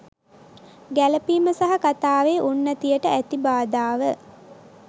ගැලපීම සහ කතාවේ උන්නතියට ඇති බාධාව